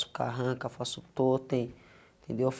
faço carranca, faço totem, entendeu?